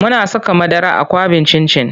Muna saka madara a kwaɓin cin cin.